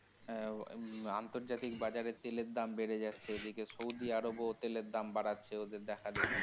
হ্যাঁ। হুম আন্তর্জাতিক বাজারে তেলের দাম বেড়ে যাচ্ছে এদিকে সৌদি আরাবিয়া ও তেলের দাম বাড়াচ্ছে ওদের দেখাদেখি।